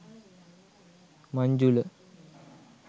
manjula